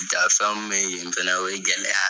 Da fɛn min be yen fɛnɛ, o ye gɛlɛya